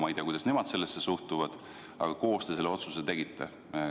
Ma ei tea, kuidas nemad sellesse suhtuvad, aga koos te selle otsuse tegite.